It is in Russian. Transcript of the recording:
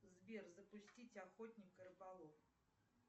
сбер запустить охотник и рыболов